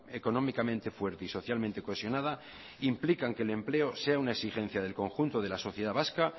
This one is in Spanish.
económicamente fuerte y socialmente cohesionada implican que el empleo sea una exigencia del conjunto de la sociedad vasca